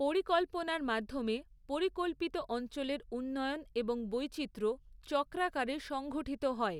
পরিকল্পনার মাধ্যমে পরিকল্পিত অঞ্চলের উন্নয়ন এবং বৈচিত্র্য চক্রাকারে সংঘঠিত হয়।